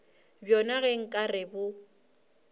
bjona ge nka re bo